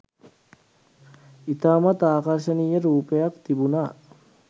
ඉතාමත් ආකර්ෂණීය රූපයක් තිබුනා